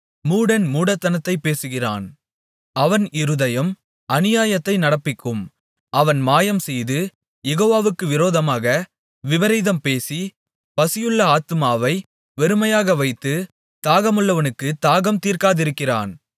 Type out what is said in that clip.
ஏனென்றால் மூடன் மூடத்தனத்தைப் பேசுகிறான் அவன் இருதயம் அநியாயத்தை நடப்பிக்கும் அவன் மாயம்செய்து யெகோவாவுக்கு விரோதமாக விபரீதம் பேசி பசியுள்ள ஆத்துமாவை வெறுமையாக வைத்து தாகமுள்ளவனுக்குத் தாகம் தீர்க்காதிருக்கிறான்